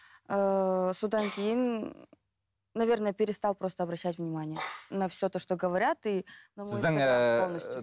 ыыы содан кейін наверное перестал просто обращать внимание на все то что говорят и